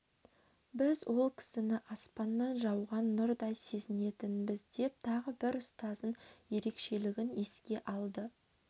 біз ол кісіні аспаннан жауған нұрдай сезінетінбіз деп тағы бір ұстазының ерекшелігін еске алды